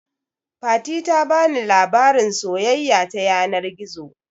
Fati ta bani labarin soyayya ta yanar gizo